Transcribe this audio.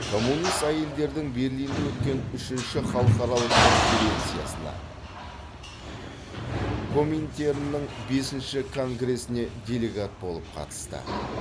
коммунист әйелдердің берлинде өткен үшінші халықаралық конференциясына коминтерннің бесінші конгресіне делегат болып қатысты